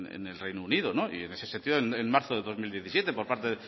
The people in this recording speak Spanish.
en el reino unido en ese sentido en marzo del dos mil diecisiete por parte